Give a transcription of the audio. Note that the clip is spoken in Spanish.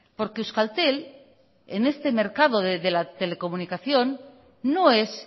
porque euskaltel en este mercado de la telecomunicación no es